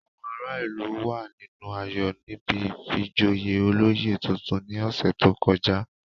Àwọn ará ìlú wà nínú ayọ̀ níbi ìfijoyè olóyè tuntun ní ọ̀sẹ̀ tó kọjá